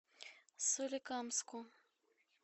соликамску